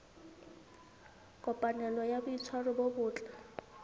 kopanelo ya boitshwaro bo botle